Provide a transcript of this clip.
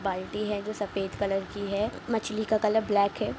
एक बाल्टी है जो सफ़ेद कलर की है मछली का कलर ब्लैक है।